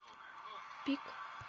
пик